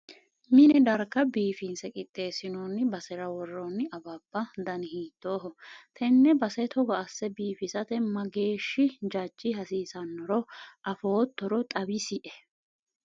binne darga biifinse qixxeessinoonni basera worrooni awabba dani hiittooho? tenne base togo asse biifisate mageeshshi jajji hasiisannoro afoottoro xawisie ?